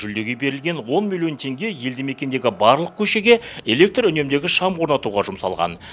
жүлдеге берілген он миллион теңге елді мекендегі барлық көшеге электр үнемдегіш шам орнатуға жұмсалған